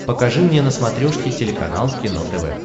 покажи мне на смотрешке телеканал кино тв